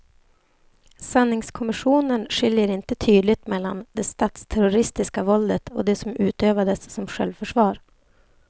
Sanningskommissionen skiljer inte tydligt mellan det statsterroristiska våldet och det som utövades som självförsvar.